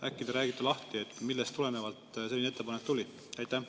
Äkki te räägite lahti, millest selline ettepanek tuleneb?